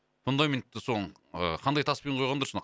фундаментті сол ы қандай таспен құйған дұрыс нақ